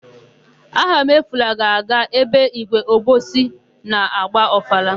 Ahamefule ga-aga ebe ígwé Obosi na-agba ọfala.